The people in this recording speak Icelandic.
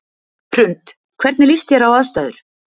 Hrund: Hvernig líst þér á aðstæður?